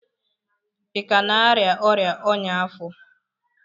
ị ka na-arịa ọrịa ọñya afọ?